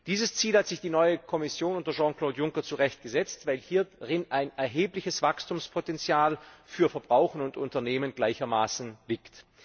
Dieses Ziel hat sich die neue Kommission unter Jean Claude Juncker zu Recht gesetzt, weil hierin ein erhebliches Wachstumspotenzial für Verbraucher und Unternehmen gleichermaßen liegt.